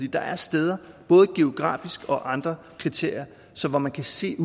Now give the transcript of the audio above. der er steder både geografisk og efter andre kriterier hvor man kan se